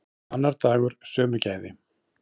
Annar dagur, sömu gæði.